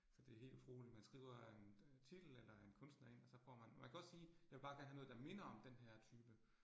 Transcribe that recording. Så det helt utroligt, man skriver en titel eller en kunstner ind, og så får man, man kan også sige, jeg vil bare gerne have noget, der minder om denne her type